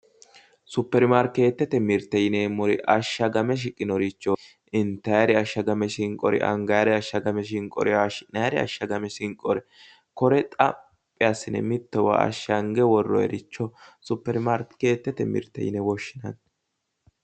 Superimaarkeetete mirte yineemmori ashsagame shiqinoricho, intayiiri ashagame shinqore angayiiri ashagame shinqori, haayshi'nayiiri ashagame shinqori kore xaphibassine mittowa ashshange worroyiiricho supermaarkeetete mirte yine woshshinanni.